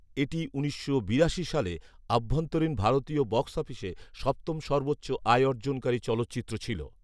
এটি উনিশশো বিরাশি সালে অভ্যান্তরীন ভারতীয় বক্স অফিসে সপ্তম সর্বোচ্চ আয়অর্জনকারী চলচ্চিত্র ছিল।